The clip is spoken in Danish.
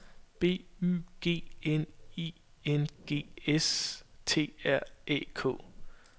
B Y G N I N G S T R Æ K